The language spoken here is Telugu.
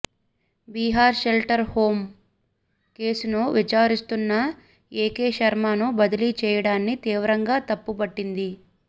బీహార్ షెల్టర్ హోమ్ కేసును విచారిస్తున్న ఏకే శర్మను బదిలీ చేయడాన్ని తీవ్రంగా తప్పుబట్టింది